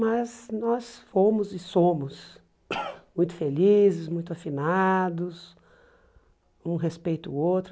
Mas nós fomos e somos muito felizes, muito afinados, um respeita o outro.